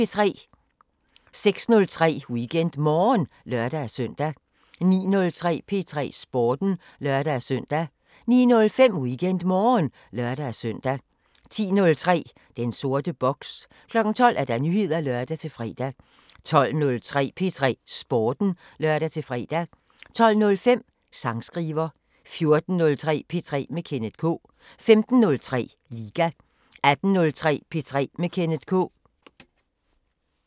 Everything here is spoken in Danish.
06:03: WeekendMorgen (lør-søn) 09:03: P3 Sporten (lør-søn) 09:05: WeekendMorgen (lør-søn) 10:03: Den sorte boks 12:00: Nyheder (lør-fre) 12:03: P3 Sporten (lør-fre) 12:05: Sangskriver 14:03: P3 med Kenneth K 15:03: Liga 18:03: P3 med Kenneth K